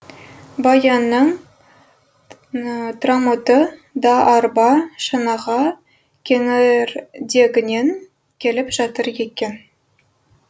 баянның трамоты да арба шанаға кеңірдегінен келіп жатыр екен